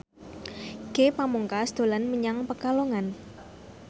Ge Pamungkas dolan menyang Pekalongan